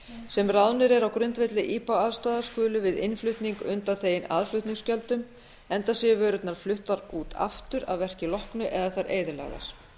sem ráðnir eru á grundvelli ipa aðstoðar skulu við innflutning undanþegin aðflutningsgjöldum enda séu vörurnar fluttar út aftur að verki loknu eða þær eyðilagðar